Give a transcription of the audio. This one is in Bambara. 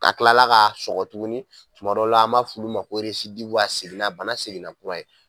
A kila la k'a sɔgɔ tuguni tuma dɔ la an b'a f'ulu ma ko residiw a seginna bana seginna kura ye